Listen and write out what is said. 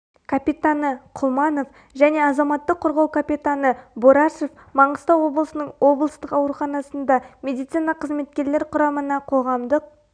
капитаны құлманов және азаматтық қорғау капитаны борашев маңғыстау облысының облысық ауруханасында медицина қызметкерлер құрамына қоғамдық